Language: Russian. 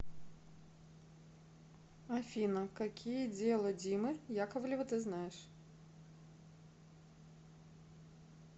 афина какие дело димы яковлева ты знаешь